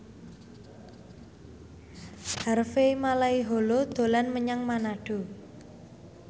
Harvey Malaiholo dolan menyang Manado